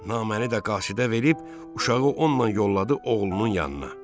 Naməni də qasidə verib uşağı onunla yolladı oğlunun yanına.